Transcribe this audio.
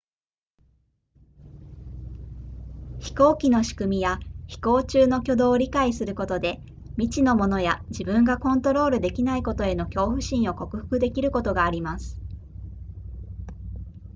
飛行機の仕組みや飛行中の挙動を理解することで未知のものや自分がコントロールできないことへの恐怖心を克服できることがあります